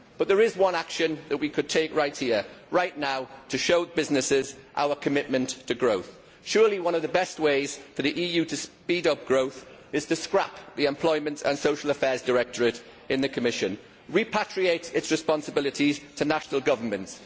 There is one action, however, that we could take right here right now to show businesses our commitment to growth. Surely one of the best ways for the EU to speed up growth is to scrap the Directorate General for Employment and Social Affairs in the Commission and repatriate its responsibilities to national governments.